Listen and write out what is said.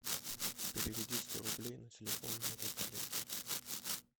переведи сто рублей на телефон моего коллеги